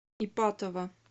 ипатово